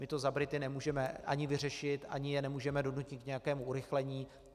My to za Brity nemůžeme ani vyřešit, ani je nemůžeme donutit k nějakému urychlení.